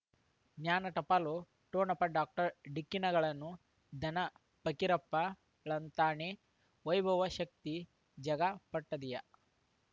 ಜ್ಞಾನ ಟಪಾಲು ಠೊಣಪ ಡಾಕ್ಟರ್ ಢಿಕ್ಕಿ ಣಗಳನು ಧನ ಫಕೀರಪ್ಪ ಳಂತಾನೆ ವೈಭವ ಶಕ್ತಿ ಝಗಾ ಪ ಟ್ಪದಿಯ